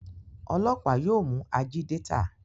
ọlọpa yóò mú Ajídétà.